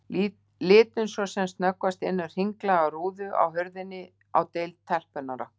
Litum svo sem snöggvast inn um hringlaga rúðu á hurðinni á deild telpunnar okkar.